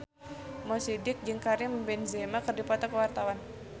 Mo Sidik jeung Karim Benzema keur dipoto ku wartawan